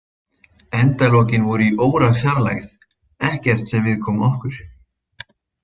Endalokin voru í órafjarlægð, ekkert sem viðkom okkur.